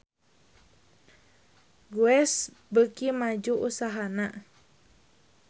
Guess beuki maju usahana